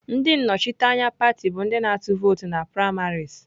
Ndị nnọchiteanya pati bụ ndị na-atụ vootu na primaries.